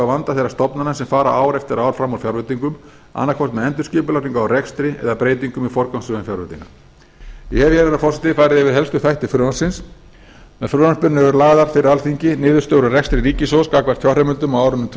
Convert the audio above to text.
vanda þeirra stofnana sem fara ár eftir ár fram úr fjárveitingum annaðhvort með endurskipulagningu á rekstri eða breytingu með forgangsröðun fjárveitinga ég hef herra forseti farið yfir helstu þætti frumvarpsins með frumvarpinu eru lagðar fyrir alþingi niðurstöður úr rekstri ríkissjóðs gagnvart fjárheimildum á árinu tvö